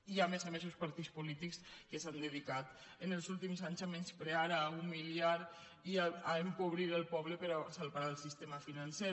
i a més a més uns partits polítics que s’han dedicat en els últims anys a menysprear a humiliar i a empobrir el poble per salvar el sistema financer